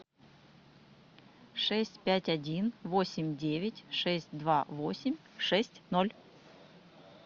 шесть пять один восемь девять шесть два восемь шесть ноль